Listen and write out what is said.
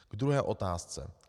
K druhé otázce.